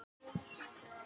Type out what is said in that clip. Átta gáfu kost á sér.